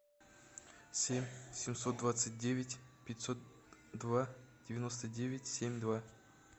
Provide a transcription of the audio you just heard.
семь семьсот двадцать девять пятьсот два девяносто девять семь два